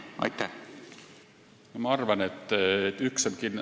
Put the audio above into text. Aitäh küsimuse eest!